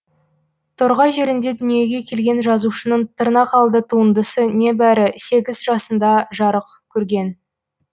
торғай жерінде дүниеге келген жазушының тырнақалды туындысы небәрі сегіз жасында жарық көрген